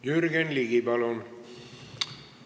Jürgen Ligi, palun!